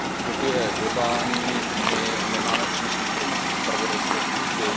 V globální době my nemáme přenos informací, zpravodajské služby.